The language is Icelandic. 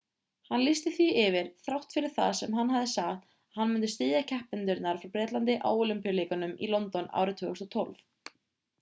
hann lýsti því yfir þrátt fyrir það sem hann hafði sagt að hann myndi styðja keppendurna frá bretlandi á ólympíuleikunum í london árið 2012